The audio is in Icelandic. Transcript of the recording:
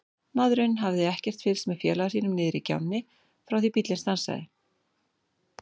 Maðurinn hafði ekkert fylgst með félaga sínum niðri í gjánni frá því bíllinn stansaði.